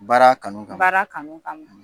Bara kanu kama baara kanu kama